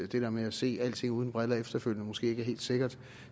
det der med at se alting uden briller efterfølgende måske ikke er helt sikkert